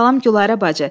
Salam, Gülarə bacı.